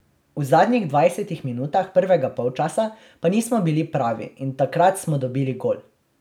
V zadnjih dvajsetih minutah prvega polčasa pa nismo bili pravi in takrat smo dobili gol.